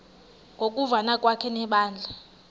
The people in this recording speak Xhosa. ngokuvana kwakhe nebandla